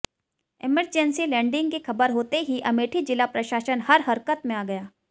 emergency landing की खबर होते ही अमेठी जिला प्रशासन हर हरक़त में आ गया